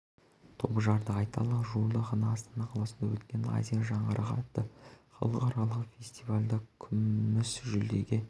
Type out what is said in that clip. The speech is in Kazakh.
топ жарды айталық жуырда ғана астана қаласында өткен азия жаңғырығы атты халықаралық фестивальде күміі жүлдеге